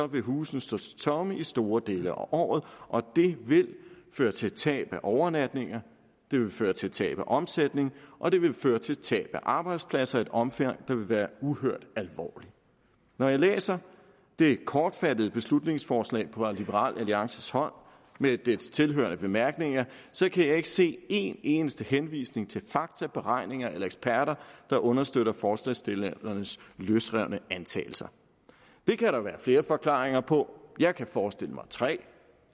vil husene stå tomme i store dele af året det vil føre til tab af overnatninger det vil føre til tab af omsætning og det vil føre til tab af arbejdspladser i et omfang der vil være uhørt alvorligt når jeg læser det kortfattede beslutningsforslag fra liberal alliances hånd med dets tilhørende bemærkninger kan jeg ikke se en eneste henvisning til faktaberegninger eller eksperter der understøtter forslagsstillernes løsrevne antagelser det kan der være flere forklaringer på jeg kan forestille mig tre